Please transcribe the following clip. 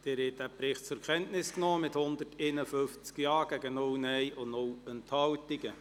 Sie haben den Bericht zur Kenntnis genommen, mit 150 Ja-, 0 Nein-Stimmen und 0 Enthaltungen.